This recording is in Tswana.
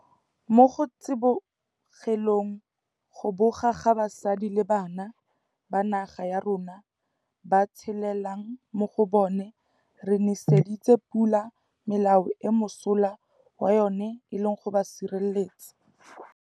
Mo go tsibogeleng go boga ga basadi le bana ba naga ya rona ba tshelelang mo go bona re neseditse pula melao eo mosola wa yona e leng go ba sireletsa.